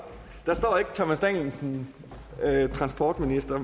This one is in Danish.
thomas danielsen for venstre